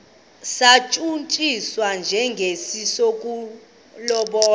satshutshiswa njengesi sokulobola